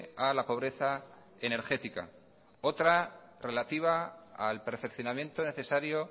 a la pobreza energética otra relativa al perfeccionamiento necesario